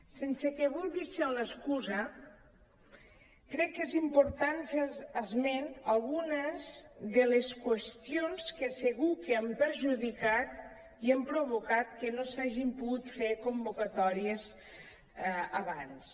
sense que vulgui ser una excusa crec que és important fer esment a algunes de les qüestions que segur que han perjudicat i han provocat que no s’hagin pogut fer convocatòries abans